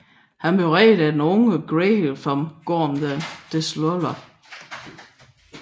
Han blev reddet af den unge Greedo fra Gorm the Dissolver